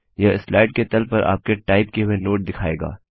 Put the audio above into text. यह स्लाइड के तल पर आपके टाइप किए हुए नोट दिखाएगा